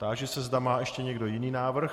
Táži se, zda má ještě někdo jiný návrh.